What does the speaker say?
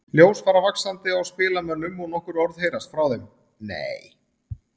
Ljós fara vaxandi á spilamönnum og nokkur orð heyrast frá þeim: Nei!